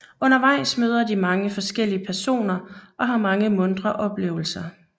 Undervejs møder de mange forskellige personer og har mange muntre oplevelser